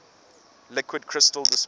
liquid crystal displays